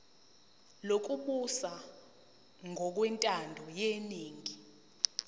lokubusa ngokwentando yeningi